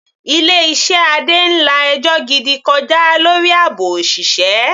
Ilé iṣẹ́ Adé ń la ẹjọ́ gidi kọjá lórí àbò òṣìṣẹ́.